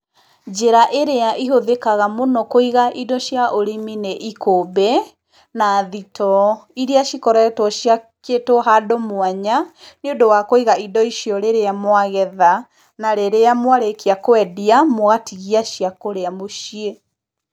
Njĩra ĩrĩa ĩhũthĩkaga mũno kũiga indo cia ũrĩmi nĩ ikũmbĩ, na thitoo, iria cikoretwo ciakĩtwo handũ mwanya, nĩũndũ wa kũiga indo icio rĩrĩa mwagetha, na rĩrĩa mwarĩkia kwendia, mwatigia cia kũrĩa mũciĩ.